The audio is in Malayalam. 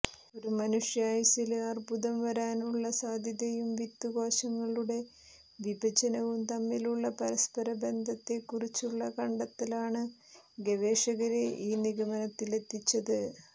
ഒരു മനുഷ്യായുസ്സില് അര്ബുദം വരാനുള്ള സാധ്യതയും വിത്തു കോശങ്ങളുടെ വിഭജനവും തമ്മിലുള്ള പരസ്പരബന്ധത്തെ കുറിച്ചുള്ള കണ്ടെത്തലാണ് ഗവേഷകരെ ഈ നിഗമനത്തിലെത്തിച്ചത്